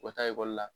U ka taa ekɔli la